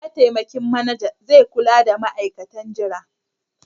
Mataimakin Manajan zai kula da ma'aikatan jira.